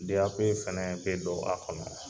Deyape fɛnɛ be don a kɔnɔ